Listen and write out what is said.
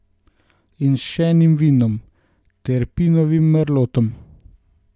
In s še enim vinom, Terpinovim merlotom.